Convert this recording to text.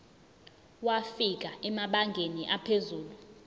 wafika emabangeni aphezulu